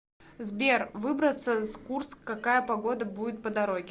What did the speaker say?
сбер выбраться с курск какая погода будет по дороге